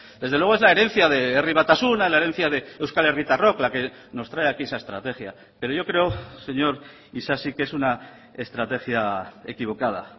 desde luego es la herencia de herri batasuna la herencia de euskal herritarrok la que nos trae aquí esa estrategia pero yo creo señor isasi que es una estrategia equivocada